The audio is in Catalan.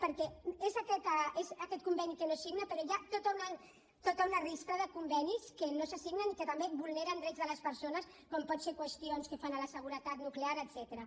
perquè és aquest conveni que no es signa però hi ha tot un enfilall de convenis que no se signen i que també vulneren drets de les persones com poden ser qüestions pel que fa a la seguretat nuclear etcètera